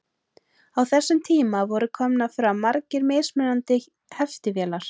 Á þessum tíma voru komnar fram margar mismunandi heftivélar.